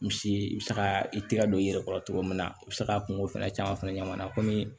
Misi i bɛ se ka i tɛgɛ don i yɛrɛ kɔrɔ cogo min na i bɛ se ka kungo fɛnɛ caman fɛnɛ ɲɛna komi